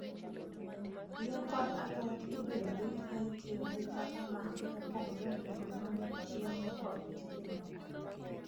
Yien kod alot ibiro rit ka itiyo gi taka ma opogore opogore mag chiemo kod tije moko